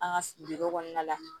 An ka kɔnɔna la